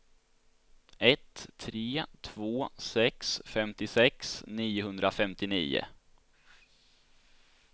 ett tre två sex femtiosex niohundrafemtionio